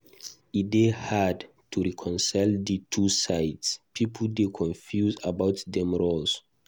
E dey hard to reconcile di two sides; pipo dey confused about dem role.